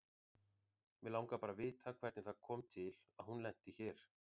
Mig langar bara að vita hvernig það kom til að hún lenti hér.